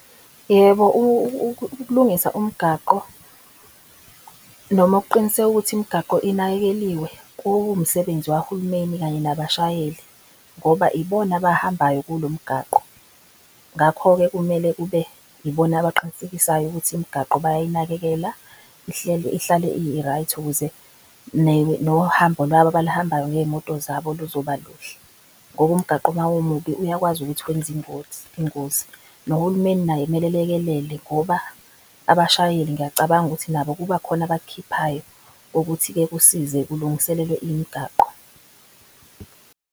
Yebo, ukulungisa umgwaqo noma ukuqiniseka ukuthi imgaqo inakekeliwe kuwumsebenzi wahulumeni kanye nabashayeli ngoba ibona abahambayo kulo mgwaqo. Ngakho-ke kumele kube ibona abaqinisekisayo ukuthi imigaqo bayayinakekela ihlale i-right. Ukuze nohambo lwabo abaluhambayo ngeyimoto zabo luzoba luhle ngoba umgagqo mawumubi, uyakwazi ukuthi wenze ingozi. Nohulumeni naye kumele elekelele ngoba abashayeli ngiyacabanga ukuthi nabo kuba khona abakukhiphayo kokuthi-ke kusize kulungiselelwe imgaqo.